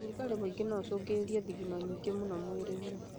rugarĩ mũingĩ noũcũngĩrĩrie thigino nyingĩ mũno mwĩrĩ-inĩ